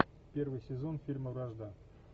первый сезон фильма вражда